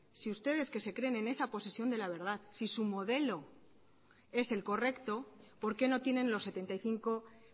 si ustedes que se creen en esa posesión de la verdad si su modelo es el correcto por qué no tienen los setenta y cinco